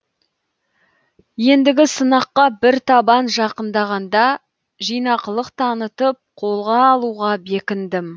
ендігі сынаққа бір табан жақындағанда жинақылық танытып қолға алуға бекіндім